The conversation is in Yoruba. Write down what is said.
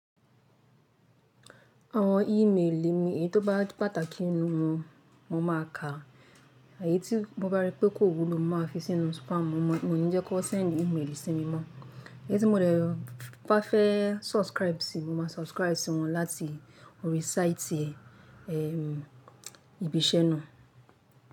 Àwọn e-mail mi èyí tó bá pàtàkì nínú wọn, mo máa ka, àyé tí mo bá rí pé kò wúlò mo máa fi sínú spam. Mo níjẹ́ kó send e-mail sí mi mọ́. Èyí tí mo rẹ̀ ba fẹ́ subscribe sí, mo máa subscribe sí wọn láti orí site ibi iṣẹ́ náà.